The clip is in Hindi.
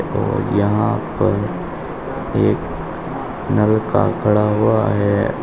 और यहां पर एक नल्का का खड़ा हुआ है।